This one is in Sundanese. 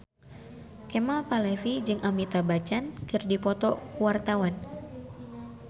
Kemal Palevi jeung Amitabh Bachchan keur dipoto ku wartawan